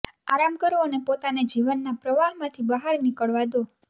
આરામ કરો અને પોતાને જીવનના પ્રવાહમાંથી બહાર નીકળવા દો